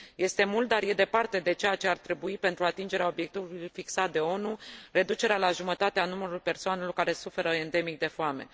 Este mult, dar e departe de ceea ce ar trebui pentru atingerea obiectivului fixat de ONU, reducerea la jumătate a numărului persoanelor care suferă endemic de foame.